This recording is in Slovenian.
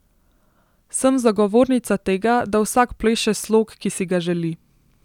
Sem zagovornica tega, da vsak pleše slog, ki si ga želi.